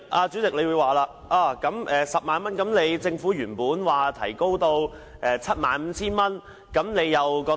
主席可能會問我，是否支持政府將權限提高至 75,000 元的修訂？